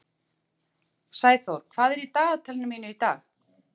Sæþór, hvað er í dagatalinu mínu í dag?